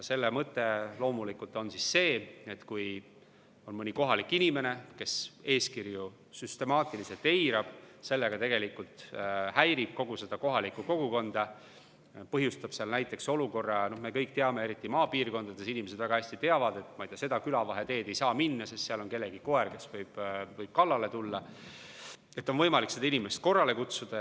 Selle mõte loomulikult on see, et kui on mõni kohalik inimene, kes eeskirju süstemaatiliselt eirab ja tegelikult häirib kogu kohalikku kogukonda, põhjustades seal näiteks sellise olukorra – me kõik teame, et eriti maapiirkondades inimesed seda väga hästi teavad –, et mööda mõnda külavaheteed ei saa minna, sest seal on kellegi koer, kes võib kallale tulla, siis edaspidi on võimalik seda inimest korrale kutsuda.